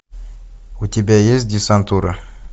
у тебя есть десантура